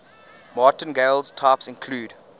martingale types include